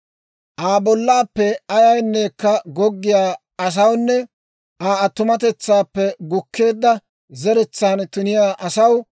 « ‹Aa bollaappe ayayneekka goggiyaa asawunne Aa attumatetsaappe gukkeedda zeretsaan tuniyaa asaw,